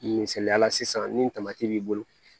Misaliyala sisan ni tamati b'i bolo